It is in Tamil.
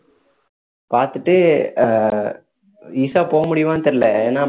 பார்த்துட்டு ஆஹ் ஈஷா போக முடியுமானு தெரியல ஏன்னா